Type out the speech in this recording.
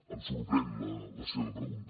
em sorprèn la seva pregunta